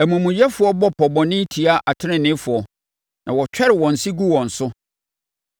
Amumuyɛfoɔ bɔ pɔ bɔne tia ateneneefoɔ na wɔtwɛre wɔn se gu wɔn so;